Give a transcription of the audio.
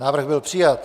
Návrh byl přijat.